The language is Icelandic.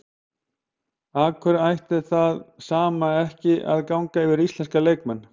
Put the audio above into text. Af hverju ætti það sama ekki að ganga yfir íslenska leikmenn?